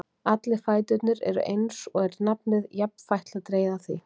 Allir fæturnir eru eins, og er nafnið jafnfætla dregið af því.